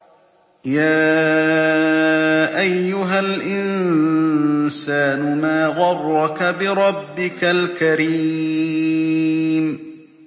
يَا أَيُّهَا الْإِنسَانُ مَا غَرَّكَ بِرَبِّكَ الْكَرِيمِ